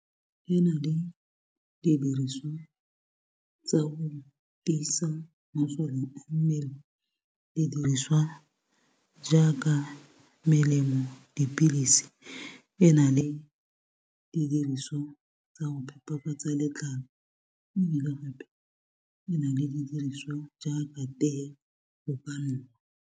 E na le didiriswa tsa go tiisa masole a mmele. Didiriswa jaaka melemo, dipilisi e na le didiriswa tsa go phepafatsa letlalo, mme gape e na le didiriswa jaaka tee .